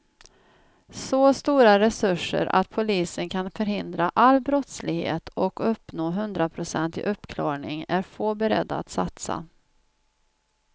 Så stora resurser att polisen kan förhindra all brottslighet och uppnå hundraprocentig uppklarning är få beredda att satsa.